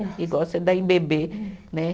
Igual você dá em bebê, né?